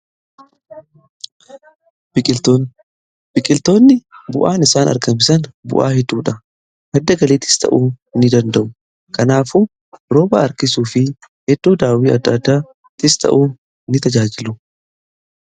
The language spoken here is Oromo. Biqiltoonni bu'aa gara garaa argamsiisu, isaan keessaa muraasni madaallii uummamaa eeguu, madda soorataa fi kanneen kana fakkaatani.